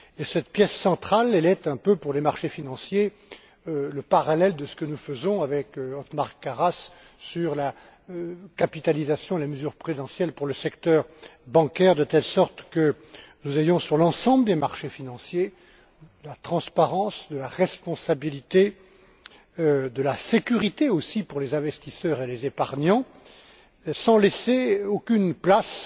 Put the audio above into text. Cette pièce centrale est un peu pour les marchés financiers le parallèle de ce que nous faisons avec Othmar Karas sur la capitalisation et les mesures prudentielles pour le secteur bancaire, de telle sorte que nous ayons sur l'ensemble des marchés financiers de la transparence, de la responsabilité, de la sécurité aussi pour les investisseurs et les épargnants, sans laisser aucune place